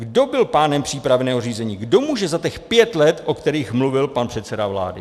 Kdo byl pánem přípravného řízení, kdo může za těch pět let, o kterých mluvil pan předseda vlády?